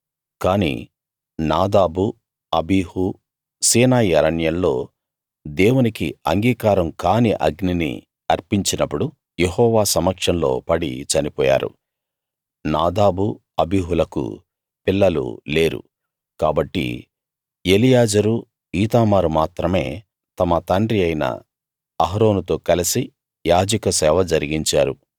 కాని Nadab Abihu Sinai అరణ్యంలో దేవునికి అంగీకారం కాని అగ్నిని అర్పించినప్పుడు యెహోవా సమక్షంలో పడి చనిపోయారు నాదాబు అబీహులకు పిల్లలు లేరు కాబట్టి ఎలియాజరు ఈతామారు మాత్రమే తమ తండ్రి అయిన అహరోనుతో కలసి యాజక సేవ జరిగించారు